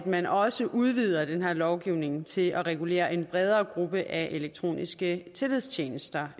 man også udvider den her lovgivning til at regulere en bredere gruppe af elektroniske tillidstjenester